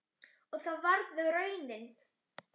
Og það varð raunin.